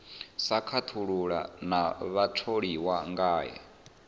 sa khethulula na vhatholiwa ngae